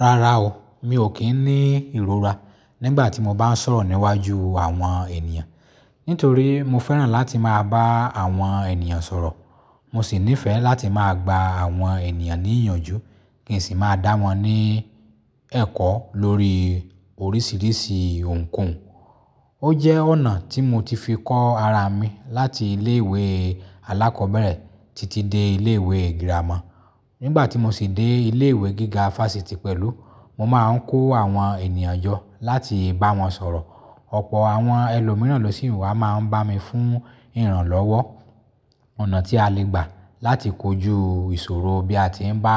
Rárá o, mi ò kí ń ní ìrora nígbà tí mo bá ń sọ̀rọ̀ níwájú àwọn ènìyàn. Nítorí mo fẹ́ràn láti máa bá àwọn ènìyàn sọ̀rọ̀. Mo sì nífẹ̀ẹ́ láti máa gba àwọn ènìyàn níyànjú kí n sì máa dá wọn ní ẹ̀kọ́ lórí oríṣiríṣi ohunkóhun. Ó jẹ́ ọ̀nà tí mo ti fi kọ́ ara mi láti ilé ìwé alákọ̀ọ́bẹ̀rẹ̀ títí dé ilé ìwé girama. Nígbà tí mo sì dé ilé ìwé gíga fáfitì pẹ̀lú, mo máa ń kó àwọn ènìyàn jọ láti bá wọn sọ̀rọ̀. Ọ̀pọ̀ àwọn ẹlòmíràn losi wà máa ń bá mi fún ìrànlọ́wọ́, ọ̀nà tí a lè gbà láti kojú ìṣòro bí a ti ń bá